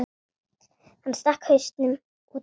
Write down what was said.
Hann stakk hausnum út aftur.